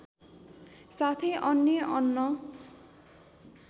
साथै अन्य अन्न